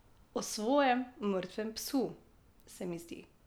O svojem mrtvem psu, se mi zdi.